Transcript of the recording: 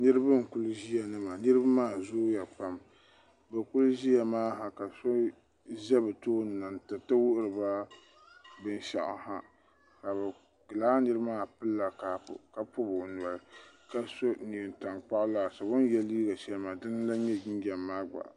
niriba n kuli ʒɛ nima niriba maa zuuyapam b kuli ʒɛya ha ka so ʒɛ be tuuni tɛritɛ wuhiriba bɛnshɛɣ'ha la be laanirimaa pɛli kapu ka pobi o noli la so nɛntankpagu laasabu o yɛ liga shɛli maa dini n lan nyɛ jinjam maa gba